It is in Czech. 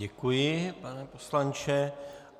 Děkuji, pane poslanče.